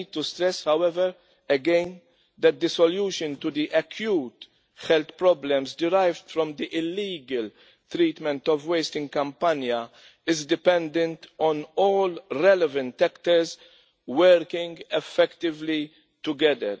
I need to stress again, however, that the solution to the acute health problems derived from the illegal treatment of waste in Campania is dependent on all relevant actors working effectively together.